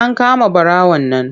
An kama ɓarawon nan.